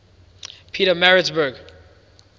pietermaritzburg